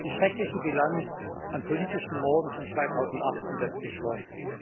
Die schreckliche Bilanz an politischen Morden von 2018 setzt sich fort.